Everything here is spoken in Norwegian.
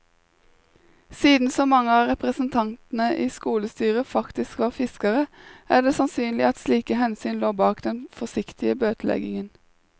Siden så mange av representantene i skolestyret faktisk var fiskere, er det sannsynlig at slike hensyn lå bak den forsiktige bøteleggingen.